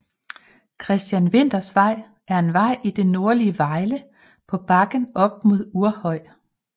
Christian Winthers Vej er en vej i det nordlige Vejle på bakken op mod Uhrhøj